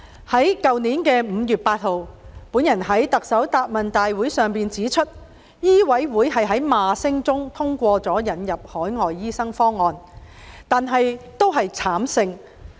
去年5月9日，我在行政長官答問會上指出，香港醫務委員會在罵聲中通過了引入海外醫生方案，但那次只是慘勝。